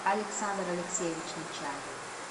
александр алексеевич нечаев